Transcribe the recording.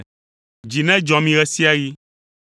Dzi nedzɔ mi ɣe sia ɣi.